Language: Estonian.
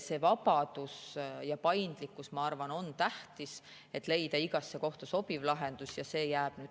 See vabadus ja paindlikkus, ma arvan, on tähtis, et leida igasse kohta sobiv lahendus, ja see jääb.